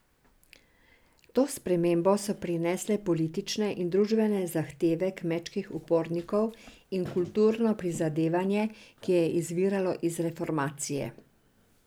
To spremembo so prinesle politične in družbene zahteve kmečkih upornikov in kulturno prizadevanje, ki je izviralo iz reformacije.